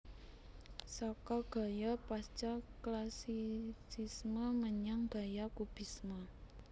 Saka gaya Pasca Classicisme menyang gaya Kubisme